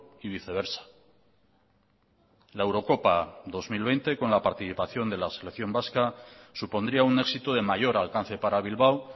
y viceversa la eurocopa dos mil veinte con la participación de la selección vasca supondría un éxito de mayor alcance para bilbao